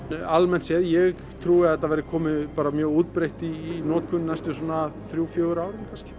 almennt séð ég trúi að þetta verði komið bara mjög útbreitt í notkun næstu svona þrjú fjögur árin kannski